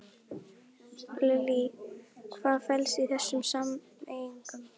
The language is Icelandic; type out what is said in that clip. Lillý, hvað felst í þessum samningum?